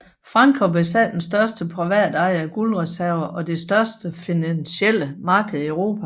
Frankrig besad den største privatejede guldreserve og det største finansielle marked i Europa